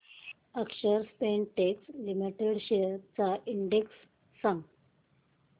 अक्षर Spintex limited shares चा index सांगा